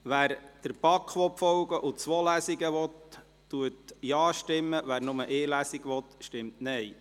Wer der BaK folgen und zwei Lesungen will, stimmt Ja, wer nur eine Lesung will, stimmt Nein.